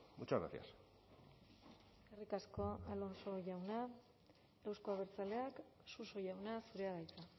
muchas gracias eskerrik asko alonso jauna euzko abertzaleak suso jauna zurea da hitza